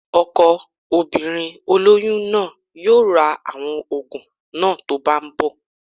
Ọkọ obìnrin olóyún náà yóò ra àwọn òògùn náà tó bá ń bọ̀